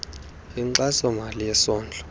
inkxaso mali yesondlo